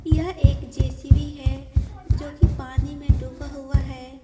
यह एक जेसीवी है जो कि पानी में डूबा हुआ है।